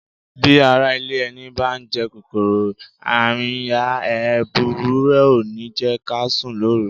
Bí ará ilé ẹni bá ń jẹ kòkòrò arìnyà, hẹ̀rẹ̀huru rẹ̀ ò ní jẹ́ ká sùn lóru.